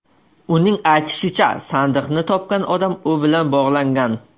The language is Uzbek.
Uning aytishicha, sandiqni topgan odam u bilan bog‘langan.